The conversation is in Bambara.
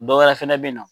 Dɔ wɛrɛ fɛnɛ be yen nɔ